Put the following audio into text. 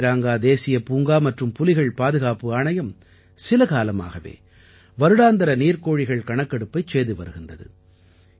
காசிரங்கா தேசியப் பூங்கா மற்றும் புலிகள் பாதுகாப்பு ஆணையம் சில காலமாகவே வருடாந்திர நீர்க்கோழிகள் கணக்கெடுப்பைச் செய்து வருகின்றது